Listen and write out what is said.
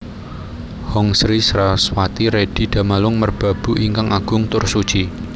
Hong Sri Saraswati redi Damalung Merbabu ingkang agung tur suci